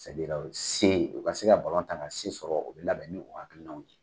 o se u ka se ka balonta ka se sɔrɔ, u bɛ labɛn ni o hakililaw de .